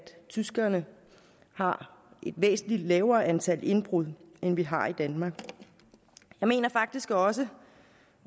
tyskerne har et væsentlig lavere antal indbrud end vi har i danmark jeg mener faktisk også